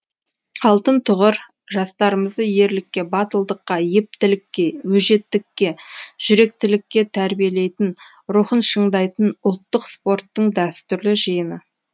алтын тұғыр жастарымызды ерлікке батылдыққа ептілікке өжеттікке жүректілікке тәрбиелейтін рухын шыңдайтын ұлттық спорттың дәстүрлі жиыны